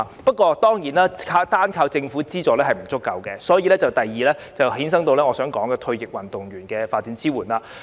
不過，單靠政府資助當然並不足夠，故此引申我想說的第二點，即退役運動員的發展支援。